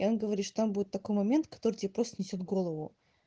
говоришь там будет такой момент который тебе просто снесёт голову